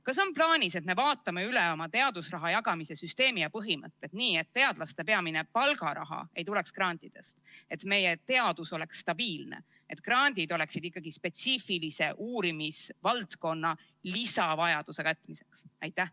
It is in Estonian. Kas on plaanis, et me vaatame üle oma teadusraha jagamise süsteemi ja põhimõtted, nii et teadlaste peamine palgaraha ei tuleks grantidest, meie teadus oleks stabiilne ja grandid oleksid ikkagi spetsiifilise uurimisvaldkonna lisavajaduse katmiseks?